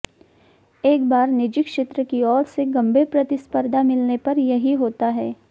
एक बार निजी क्षेत्र की ओर से गंभीर प्रतिस्पर्धा मिलने पर यही होता है